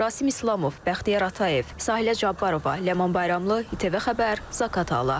Rasim İslamov, Bəxtiyar Atayev, Sahilə Cabbarova, Ləman Bayramlı, İTV Xəbər, Zaqatala.